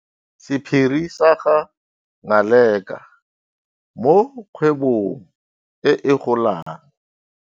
Sephiri sa ga Ngaleka mo kgwebong e e golang.